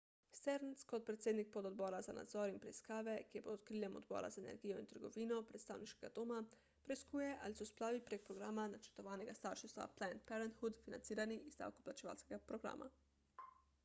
stearns kot predsednik pododbora za nadzor in preiskave ki je pod okriljem odbora za energijo in trgovino predstavniškega doma preiskuje ali so splavi prek programa načrtovanega starševstva »planned parenthood« financirani iz davkoplačevalskega denarja